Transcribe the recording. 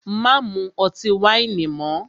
Má mú ọtí wáìnì mọ́!